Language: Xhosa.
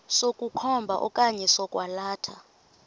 sokukhomba okanye sokwalatha